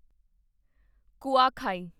ਕੁਆਖਾਈ